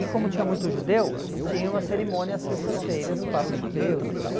E como tinha muito judeu, tinha uma cerimônia às sextas-feiras para os judeus e tal.